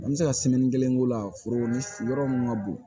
An bɛ se ka kelen k'o la foro ni yɔrɔ mun ka bon